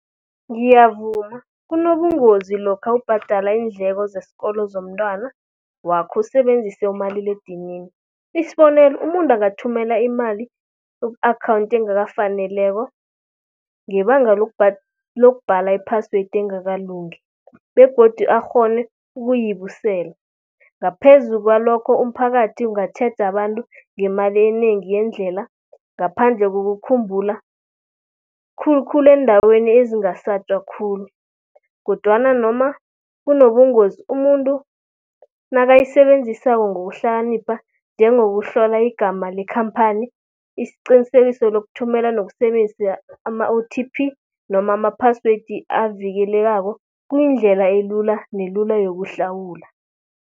Ngiyavuma, kunobungozi lokha ubhadala iindleko zesikolo zomntwana wakho usebenzise umaliledinini. Isibonelo, umuntu angathumela imali ku-akhawunti engakafaneleko ngebanga lokubhala i-password engakalungi begodu akghone ukuyibuyisela. Ngaphezu kwalokho umphakathi ungatjheja abantu ngemali enengi yendlela, ngaphandle kokukhumbula, khulukhulu eendaweni ezingasatjwa khulu. Kodwana noma kunobungozi umuntu nakayisebenzisako ngokuhlakanipha, njengokuhlola igama lekhamphani, isiqinisekiso lokuthumela nokusebenzisa ama-O_T_P noma ama-password avikelekako kuyindlela elula nelula yokuhlawula.